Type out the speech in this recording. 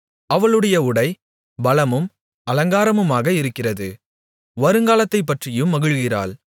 அவளுடைய உடை பலமும் அலங்காரமுமாக இருக்கிறது வருங்காலத்தைப் பற்றியும் மகிழுகிறாள்